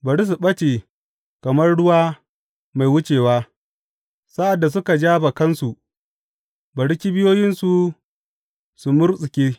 Bari su ɓace kamar ruwa mai wucewa; sa’ad da suka ja bakansu, bari kibiyoyinsu su murtsuke.